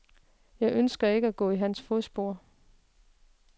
Jeg ønsker ikke at gå i hans fodspor.